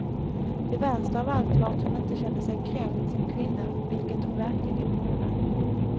Det värsta av allt var att hon inte kände sig kränkt som kvinna, vilket hon verkligen borde.